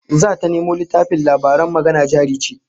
Zata nemo littafin labaran Magana Jari Ce